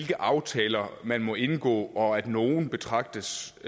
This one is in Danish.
de aftaler man må indgå og at nogle betragtes